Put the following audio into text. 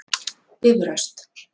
Bifröst